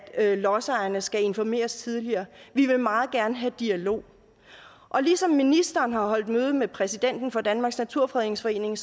lodsejerne skal informeres tidligere de vil meget gerne have dialog og ligesom ministeren har holdt møde med præsidenten for danmarks naturfredningsforening